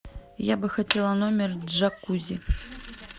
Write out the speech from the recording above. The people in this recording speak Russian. я бы хотела номер с джакузи